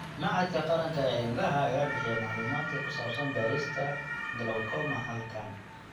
Machadka Qaranka ee Indhaha ayaa bixiya macluumaadka ku saabsan baarista glaucoma HALKAN.